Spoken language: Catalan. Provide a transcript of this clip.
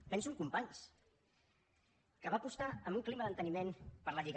penso en companys que va apostar en un clima d’enteniment per la lliga